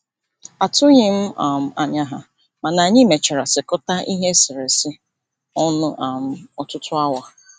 Atụghị m um anya ha, mana anyị mechara sekọta ihe eserese ọnụ um ọtụtụ awa.